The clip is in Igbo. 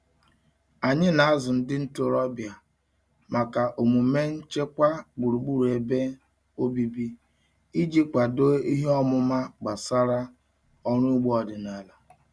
Anyị na-azụ ndị ntorobịa maka omume nchekwa gburugburu ebe obibi iji kwado ihe ọmụma gbasara ọrụ ugbo ọdịnala.